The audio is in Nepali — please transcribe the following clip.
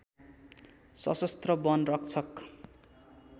सशस्त्र वन रक्षक